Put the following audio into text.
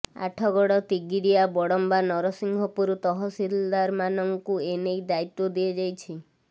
ଆଠଗଡ଼ ତିଗିରିଆ ବଡ଼ମ୍ବା ନରସିଂହପୁର ତହସିଲଦାରମାନଙ୍କୁ ଏନେଇ ଦାୟିତ୍ବ ଦିଆଯାଇଛି